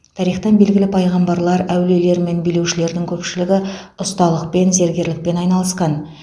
тарихтан белгілі пайғамбарлар әулиелер мен билеушілердің көпшілігі ұсталықпен зергерлікпен айналысқан